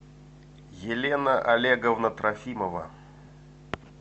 елена олеговна трофимова